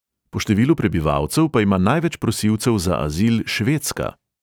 Po številu prebivalcev pa ima največ prosilcev za azil švedska.